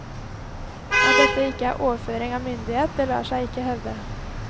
At dette ikke er overføring av myndighet, det lar seg ikke hevde.